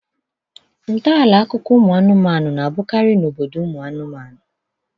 Ntọala akụkọ anụmanụ na-abụkarị n'obodo ụmụ anụmanụ